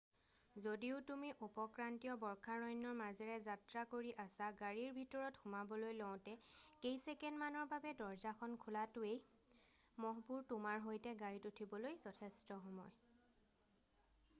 যদিও তুমি উপক্ৰান্তীয় বৰ্ষাৰণ্যৰ মাজেৰে যাত্ৰা কৰি আছা গাড়ীৰ ভিতৰত সোমাবলৈ লওতে কেইছেকেণ্ডমানৰ বাবে দৰ্জাখন খোলাটোৱেই মহবোৰ তোমাৰ সৈতে গাড়ীত উঠিবলৈ যথেষ্ট সময়